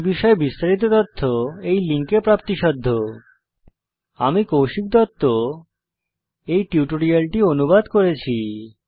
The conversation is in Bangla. এই বিষয়ে বিস্তারিত তথ্য এই লিঙ্কে প্রাপ্তিসাধ্য spoken hyphen tutorial dot org slash NMEICT hyphen intro আমি কৌশিক দত্ত টিউটোরিয়ালটি অনুবাদ করেছি